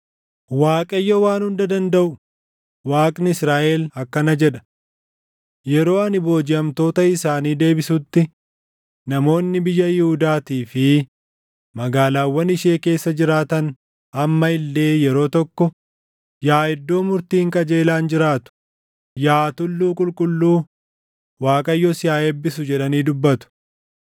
Waaqayyo Waan Hunda Dandaʼu, Waaqni Israaʼel akkana jedha: “Yeroo ani boojiʼamtoota isaanii deebisutti namoonni biyya Yihuudaatii fi magaalaawwan ishee keessa jiraatan amma illee yeroo tokko, ‘Yaa iddoo murtiin qajeelaan jiraatu, yaa tulluu qulqulluu, Waaqayyo si haa eebbisu’ jedhanii dubbatu.